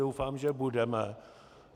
Doufám, že budeme.